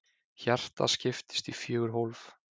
Hjartað skiptist í fjögur hólf.